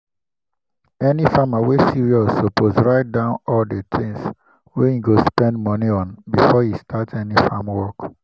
any farmer wey serious suppose write down all the things wey e go spend money on before e start any farm work.